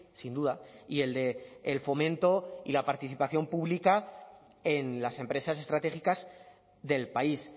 sin duda y el del fomento y la participación pública en las empresas estratégicas del país